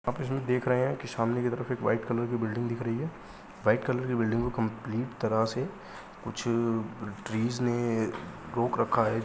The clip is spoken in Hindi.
आप इसमें देख रहें हैं की सामने की तरफ एक वाइट कलर की बिल्डिंग दिख रही है| वाइट कलर की बिल्डिंग में कम्पलीट तरह से कुछ ट्रीज ने रोक रखा है।